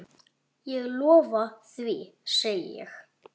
Ég lofa því, segi ég.